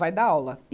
Vai dar aula.